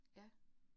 Ja